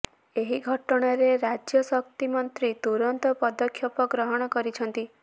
ଏହି ଘଟଣାରେ ରାଜ୍ୟ ଶକ୍ତି ମନ୍ତ୍ରୀ ତୁରନ୍ତ ପଦକ୍ଷେପ ଗ୍ରହଣ କରିଛନ୍ତି